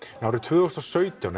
árið tvö þúsund og sautján